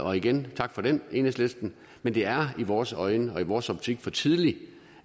og igen tak for den enhedslisten men det er i vores øjne og i vores optik for tidligt